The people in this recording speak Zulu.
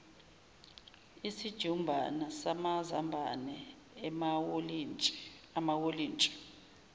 isijumbana samazambane amawolintshi